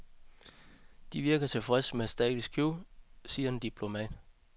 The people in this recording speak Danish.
De virker tilfredse med status quo, siger en diplomat.